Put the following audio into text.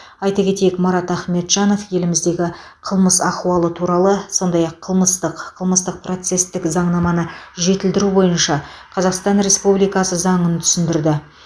айта кетейік марат ахметжанов еліміздегі қылмыс ахуалы туралы сондай ақ қылмыстық қылмыстық процестік заңнаманы жетілдіру бойынша қазақстан республикасы заңын түсіндірді